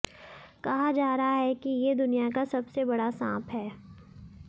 कहा जा रहा है कि ये दुनिया का सबसे बड़ा सांप है